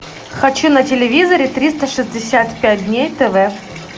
хочу на телевизоре триста шестьдесят пять дней тв